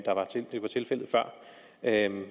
er en